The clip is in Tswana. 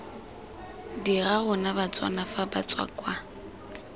dira rona batswana fa batswakwa